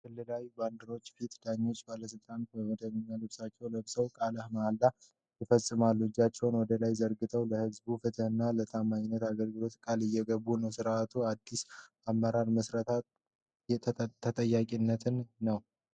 በክልላዊ ባንዲራዎች ፊት፣ ዳኞችና ባለሥልጣናት መደበኛ ልብሳቸውን ለብሰው ቃለ መሃላ ይፈጽማሉ። እጃቸውን ወደ ላይ ዘርግተው፣ ለሕዝብ ፍትህና ለታማኝ አገልግሎት ቃል እየገቡ ነው። ሥርዓቱ የአዲስ አመራር ምስረታንና ተጠያቂነትን ነው።